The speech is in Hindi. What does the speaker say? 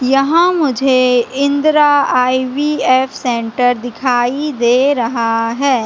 यहाँ मुझे इंद्रा आई_वी_एफ सेंटर दिखाई दे रहा है।